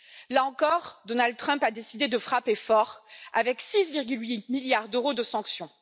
Là encore, Donald Trump a décidé de frapper fort, avec 6,8 milliards d'euros de sanctions.